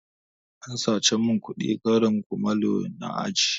An sace mun kuɗin karin kumalo na a aji